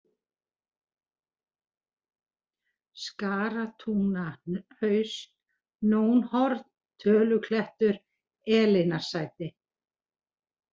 Skaratungnahaus, Nónhorn, Töluklettur, Elínarsæti